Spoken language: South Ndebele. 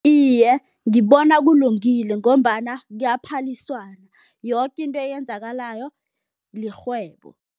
Iye, ngibona kulungile ngombana kuyaphaliswana, yoke into eyenzakalayo lirhwebo.